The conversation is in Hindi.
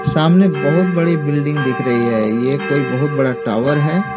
सामने बहुत बड़ी बिल्डिंग दिख रही है यह कोई बहुत बड़ा टावर है।